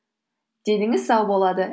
деніңіз сау болады